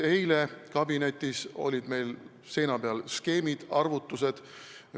Eile olid meil kabinetis skeemid ja arvutused.